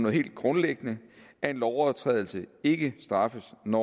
helt grundlæggende at en lovovertrædelse ikke straffes når